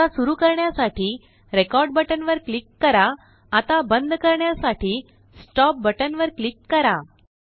आता सुरू करण्यासाठी रेकॉर्ड बटन वर क्लिक कराआता बंदकरण्यासाठी स्टॉप बटन वर क्लिक करा